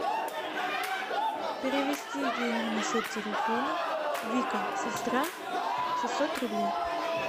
перевести деньги на счет телефона вика сестра шестьсот рублей